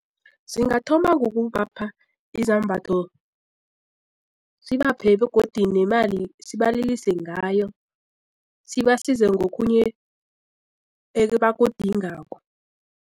Singathoma ngokubapha izambatho sibaphe begodu nemali sibalilise ngayo sibasize ngokhunye ebakudingakho.